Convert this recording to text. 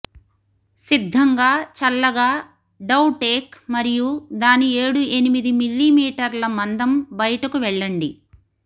సిద్ధంగా చల్లగా dough take మరియు దాని ఏడు ఎనిమిది మిల్లీమీటర్ల మందం బయటకు వెళ్లండి